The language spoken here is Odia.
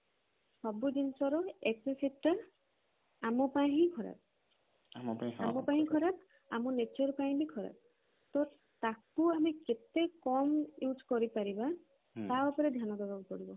ସବୁ ଜିନିଷ ର excessive ଟା ଆମ ପାଇଁ ହିଁ ଖରାପ ଆମ ପାଇଁ ଖରାପ ଆମ nature ପାଇଁ ବି ଖରାପ ତ ତାକୁ ଆମେ କେତେ କମ ଆମେ use କରି ପାରିବା ତା ଉପରେ ଧ୍ୟାନ ଦବା ପାଇଁ ପଡିବ